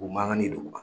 O mankan ni duguma